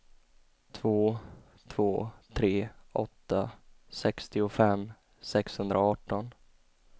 två två tre åtta sextiofem sexhundraarton